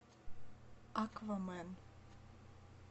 аквамен